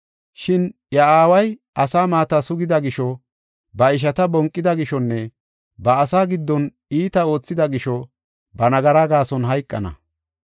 Shin iya aaway asa maata sugida gisho, ba ishata bonqida gishonne ba asaa giddon iitaa oothida gisho ba nagaraa gaason hayqana.